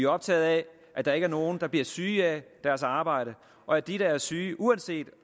optaget af at der ikke er nogen der bliver syge af deres arbejde og at de der er syge uanset